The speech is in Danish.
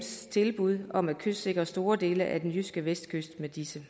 tilbud om at kystsikre store dele af den jyske vestkyst med disse